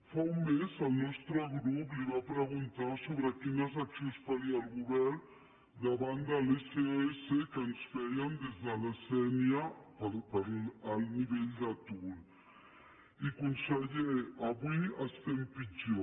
fa un mes el nostre grup li va preguntar sobre quines acci·ons faria el govern davant de l’sos que ens feien des de la sénia per l’alt nivell d’atur i conseller avui es·tem pitjor